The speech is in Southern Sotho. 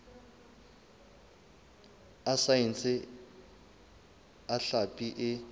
a saense a hlapi e